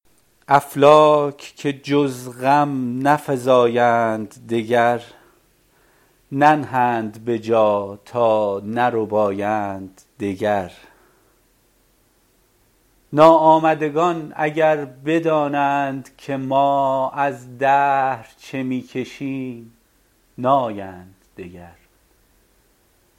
افلاک که جز غم نفزایند دگر ننهند به جا تا نربایند دگر ناآمدگان اگر بدانند که ما از دهر چه می کشیم نایند دگر